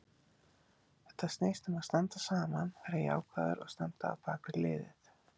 Þetta snýst um að standa saman, vera jákvæður og standa á bakvið liðið.